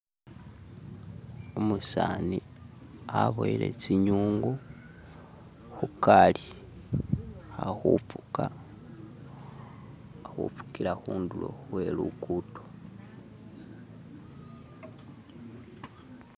umusaani aboyile tsinyungu khukali alikhufuka alikhufukila khundulo khweluguddo.